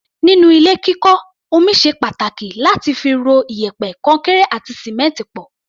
Nínú ilé kíkọ́, omi ṣe pàtàkì láti fi ro iyẹ̀pẹ̀, kọnkéré àti sìmẹ́ǹtì pọ̀.